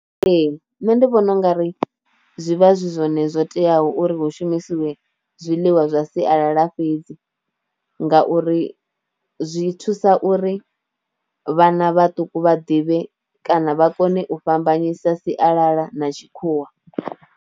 Ee nṋe ndi vhona u nga ri zwi vha zwi zwone zwo teaho uri hu shumisiwe zwiḽiwa zwa sialala fhedzi, ngauri zwi thusa uri vhana vhaṱuku vha ḓivhe kana vha kone u fhambanyisa sialala na tshikhuwa.